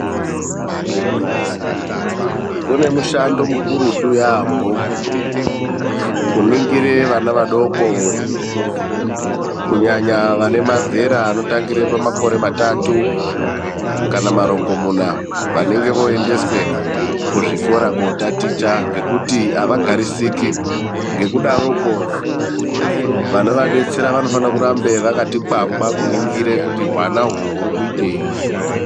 Kune mushando mukurutu yambo, kuningire vana vadoko kunyanya vane mazera anotangire pamakore matatu kana marongomuna. Vanenge voyendeswe kuzvikora kotaticha nokuti havagarisiki, ngekudaroko vanovadetsera vanofana kuramba vakati kwangwa, kuningire kuti hwana uhwu hurikuiteyi.